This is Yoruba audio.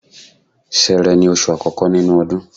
Ṣẹẹrẹ ni oṣù àkọ́kọ́ nínú ọdún.